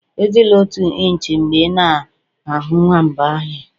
Ejila otu inch mgbe ị na-ahụ nwamba ọhịa